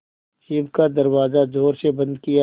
jeep का दरवाज़ा ज़ोर से बंद किया